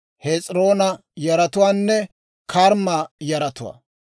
Hes'iroona yaratuwaanne Karmma yaratuwaa.